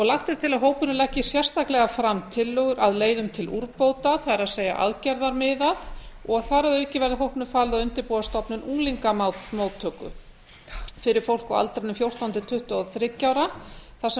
lagt er til að hópurinn leggi sérstaklega fram tillögur að leiðum til úrbóta það er aðgerðamiðað og þar að auki verði hópnum falið að undirbúa stofnun unglingamóttöku fyrir fólk á aldrinum fjórtán til tuttugu og þriggja ára þar sem